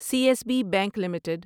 C S B bank limited